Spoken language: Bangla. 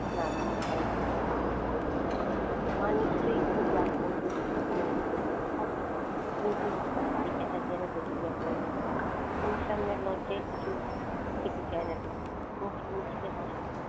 না দিয়ে উপায় নেই। মা নিশ্চয় খুব রাগ করবে হুমুর উপর তা করুক কিন্তু বেচাটা যেন বেঁচে যায় কোন রকমে হুমু র সামনে লজ্জায় কিছু খেতে চায় না টুকু মুচকি মুচকি হাসে।